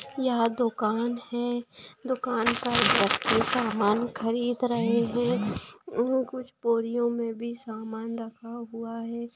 यह दोकान है दोकान पर व्यक्ति समान खरीद रहे है कुछ बोरियो में भी समान रखा हुआ है।